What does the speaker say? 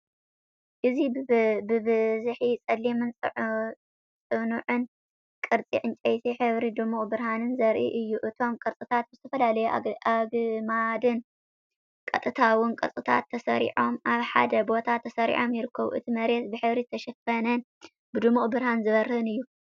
እዚ ብብዝሒ ጸሊምን ጽኑዕን ቅርጺ ዕንጨይቲ፡ ሕብሩን ድሙቕ ብርሃንን ዘርኢ እዩ። እቶም ቅርጽታት ብዝተፈላለዩ ኣግማድን ቀጥታውን ቅርጽታት ተሰሪዖም ኣብ ሓደ ቦታ ተሰሪዖም ይርከቡ። እቲ መሬት ብሕብሪ ዝተሸፈነን ብድሙቕ ብርሃን ዝበርህን እዩ።